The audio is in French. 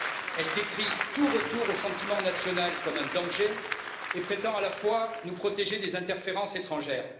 Elle décrit tout retour au sentiment national comme un danger et prétend à la fois nous protéger des interférences étrangères.